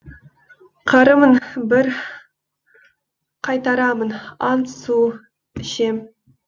қарымын бір қайтарамын ант су ішем